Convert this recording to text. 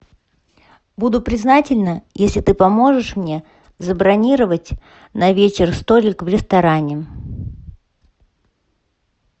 буду признательна если ты поможешь мне забронировать на вечер столик в ресторане